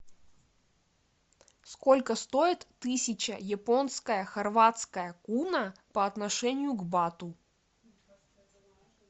сколько стоит тысяча японская хорватская куна по отношению к бату